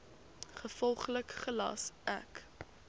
gevolglik gelas ek